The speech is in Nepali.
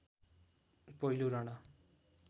पहिलो राणा